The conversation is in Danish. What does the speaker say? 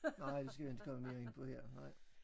Nej det skal vi inte komme mere ind på her nej